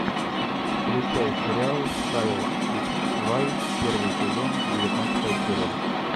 включай сериал кайл икс вай первый сезон девятнадцатая серия